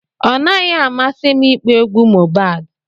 Ọ naghị amasi m ịkpọ egwu Mohbad.